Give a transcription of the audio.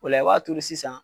O la i b'a turu sisan.